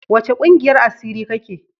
Wace kungiyar asiri ka ke?